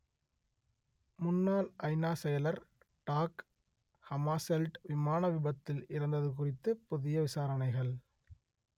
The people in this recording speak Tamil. முன்னாள் ஐநா செயலர் டாக் ஹமாசெல்ட் விமான விபத்தில் இறந்தது குறித்து புதிய விசாரணைகள்